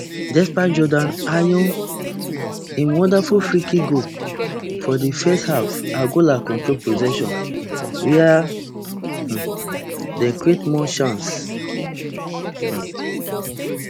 despite jordan ayew im wonderful freekick goal for di first half angola control possession wia um dem create more chances um